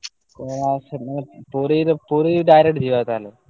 ଓଃ! Puri direct ଯିବା ତାହେଲେ?